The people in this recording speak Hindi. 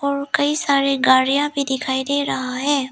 और कई सारे गाड़ियां भी दिखाई दे रहा है।